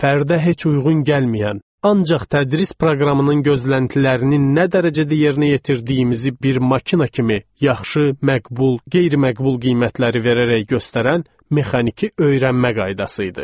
Fərdə heç uyğun gəlməyən, ancaq tədris proqramının gözləntilərini nə dərəcədə yerinə yetirdiyimizi bir maşın kimi, yaxşı, məqbul, qeyri-məqbul qiymətləri verərək göstərən mexaniki öyrənmə qaydası idi.